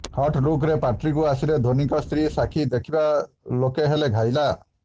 hot ଲୁକ୍ରେ ପାର୍ଟିକୁ ଆସିଲେ ଧୋନୀଙ୍କ ସ୍ତ୍ରୀ ସାକ୍ଷୀ ଦେଖିବା ଲୋକେ ହେଲେ ଘାଇଲା